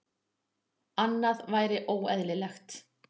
Annað væri óeðlilegt.